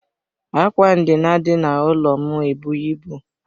Ákwà ndina dị n'ụlọ ndina m ebughi ịbụ.